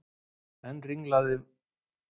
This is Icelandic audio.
Enn ringlaðri varð ég svo vegna þess að trúnaðarvini